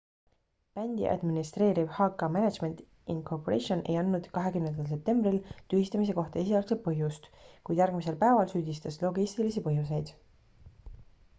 bändi administreeriv hk management inc ei andnud 20 septembril tühistamise kohta esialgset põhjust kuid järgmisel päeval süüdistas logistilisi põhjuseid